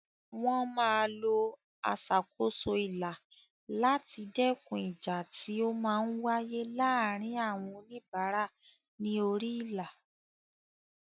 Wọ́n máa lo aṣàkóso ilà láti dẹ́kun ìjà tí ó máa ń wáyé láàárín àwọn oníbàárà ní orí ilà.